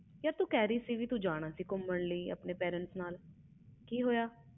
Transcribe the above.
ਯਾਰ ਤੂੰ ਕਹਿ ਰਹੀ ਸੀ ਜਾਣਾ ਗੌਮਣ parents ਨਾਲ ਕਿ ਹੋਇਆ